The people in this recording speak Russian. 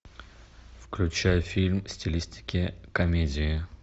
включай фильм в стилистике комедия